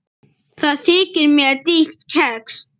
Það þykir mér dýrt kex.